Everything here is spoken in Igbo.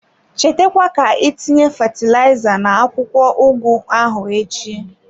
Cheta kwa ka itinye fatilaiza na-akwụkwọ ugu ahụ echi.